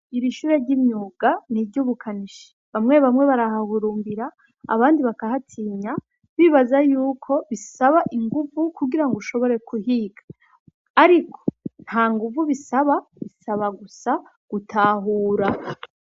Iri shure ry'imyuga ni iry'ubukanishi. Bamwe bamwe barahahurumbira abandi bakahatinya bibaza yuko bisaba inguvu kugira ngo ushobore kuhiga, ariko ntanguvu bisaba, bisaba gusa gutahura.